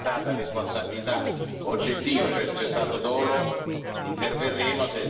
Se c'è stata responsabilità oggettiva, cioè se c'è stato dolo, interverremo.